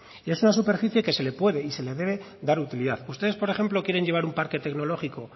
y es una superficie que se le puede y se le debe dar utilidad ustedes por ejemplo quieren llevar un parque tecnológico